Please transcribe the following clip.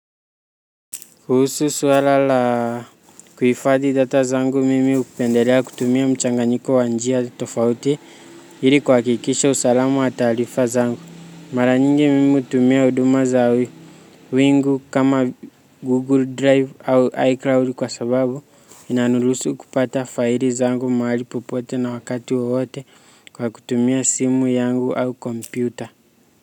Kuhusu swala la kuhifadi data zangu mimi hupendelea kutumia mchanganyiko wa njia tofauti ili kuhakikisha usalama wa taarifa zangu mara nyingi mimi hutumia huduma za wingu kama google drive ama icloud kwa sababu inaniruhusu kupata faili zangu mahali popote na wakati wowote kwa kutumia simu yangu au kompyuta.